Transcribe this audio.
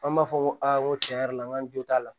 An b'a fɔ ko aa ko tiɲɛ yɛrɛ la n ka jo t'a la